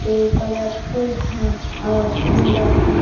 जो कलरफुल है और सुंदर है।